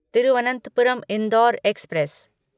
Thiruvananthapuram Indore express